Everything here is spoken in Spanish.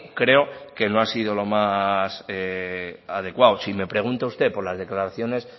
creo que no ha sido lo más adecuado si me pregunta usted por las declaraciones